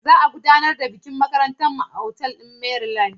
Za a gudanar da bikin makarantar mu a otal ɗin Maryland.